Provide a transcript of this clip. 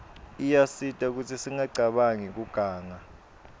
iyasita kutsi singacabanq kiuganga